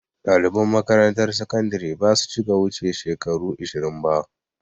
Ɗaliban makaramtar sakandire basu cika wuce shekaru ishirin ba